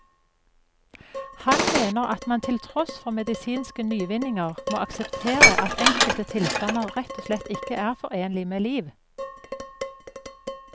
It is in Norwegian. Han mener at man til tross for medisinske nyvinninger må akseptere at enkelte tilstander rett og slett ikke er forenlig med liv.